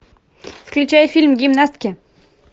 включай фильм гимнастки